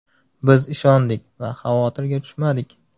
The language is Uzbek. Biz ishondik va xavotirga tushmadik.